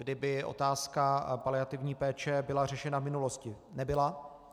Kdyby otázka paliativní péče byla řešena v minulosti - nebyla.